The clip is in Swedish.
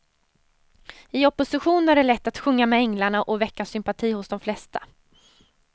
I opposition är det lätt att sjunga med änglarna och väcka sympati hos de flesta.